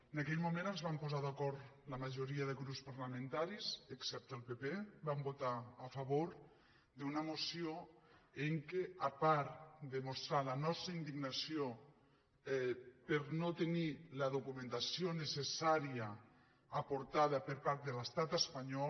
en aquell moment ens vam posar d’acord la ma·joria de grups parlamentaris excepte el pp vam votar a favor d’una moció en què a part de mostrar la nos·tra indignació per no tenir la documentació necessà·ria aportada per part de l’estat espanyol